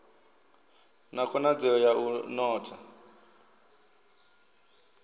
na khonadzeo ya u notha